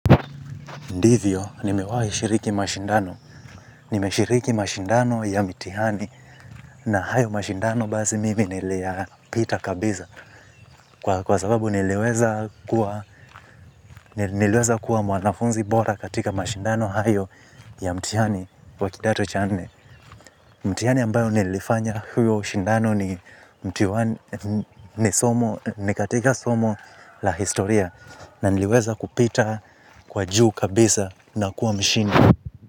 Ndivyo, nime wahi shiriki mashindano nimeshiriki mashindano ya mtihani na hayo mashindano basi mimi niliyapita kabisa kwa sababu niliweza kua nileweza kuwa mwanafunzi bora katika mashindano hayo ya mtihani wa kidato cha nne. Mtihani ambayo nilifanya huo ushindano ni ni katika somo la historia na niliweza kupita kwa juu kabisa na kuwa mshindi.